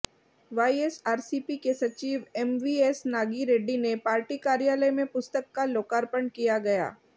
YSRCP के सचिव MVS Nagi Reddy ने पार्टी कार्यालय में पुस्तक का लोकार्पण किया गया